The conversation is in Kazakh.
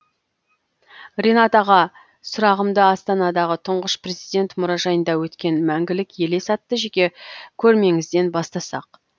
ренат аға сұрағымды астанадағы тұңғыш президент мұражайында өткен мәңгілік елес атты жеке көрмеңізден бастасақ